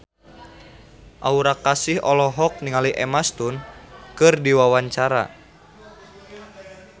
Aura Kasih olohok ningali Emma Stone keur diwawancara